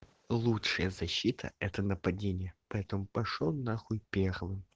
лучшая защита это нападение поэтому пошёл нахуй первый